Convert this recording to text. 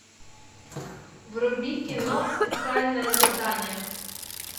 вруби кино специальное задание